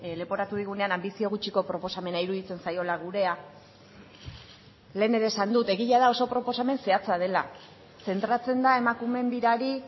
leporatu digunean anbizio gutxiko proposamena iruditzen zaiola gurea lehen ere esan dut egia da oso proposamen zehatza dela zentratzen da emakumeen birari